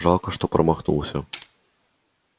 жалко что промахнулся